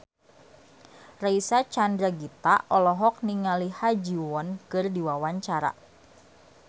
Reysa Chandragitta olohok ningali Ha Ji Won keur diwawancara